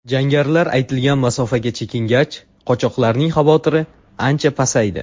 Jangarilar aytilgan masofaga chekingach, qochoqlarning xavotiri ancha pasaydi.